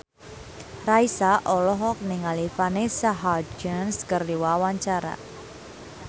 Raisa olohok ningali Vanessa Hudgens keur diwawancara